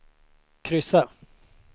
kryssa